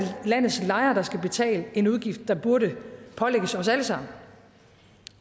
landets lejere der skal betale en udgift der burde pålægges os alle sammen